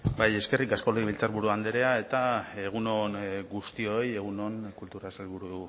bai eskerrik asko legebiltzarburu andrea eta egun on guztioi egun on kultura sailburu